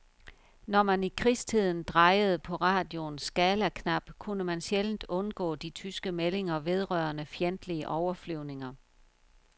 Når man i krigstiden drejede på radioens skalaknap, kunne man sjældent undgå de tyske meldinger vedrørende fjendtlige overflyvninger.